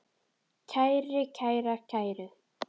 kæri, kæra, kæru